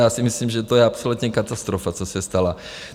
Já si myslím, že to je absolutní katastrofa, co se stalo.